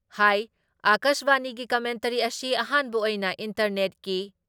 ꯍꯥꯏ ꯑꯀꯥꯁꯕꯥꯅꯤꯒꯤ ꯀꯃꯦꯟꯇꯔꯤ ꯑꯁꯤ ꯑꯍꯥꯟꯕ ꯑꯣꯏꯅ ꯏꯟꯇꯔꯅꯦꯠꯀꯤ